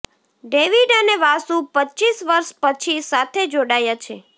David અને વાસુ પચ્ચીસ વર્ષ પછી સાથે જોડાયા છે